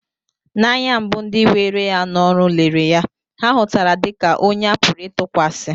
N'anya mbu ndị were ya n'ọrụ lere ya, ha hutara dị ka onye a pụrụ ịtụkwasị